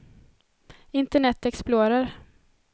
internet explorer